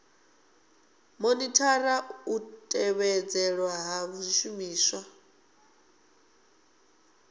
monithara u tevhedzelwa ha zwishumiswa